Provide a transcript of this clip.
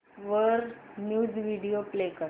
वर news video play कर